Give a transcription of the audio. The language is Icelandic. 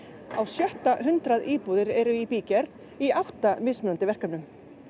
á sjötta hundrað íbúðir eru í bígerð í átta mismunandi verkefnum